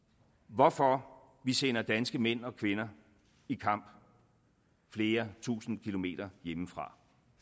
hvorfor vi sender danske mænd og kvinder i kamp flere tusind kilometer hjemmefra